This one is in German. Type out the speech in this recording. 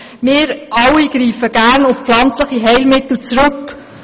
Wir alle greifen gerne auf pflanzliche Heilmittel zurück.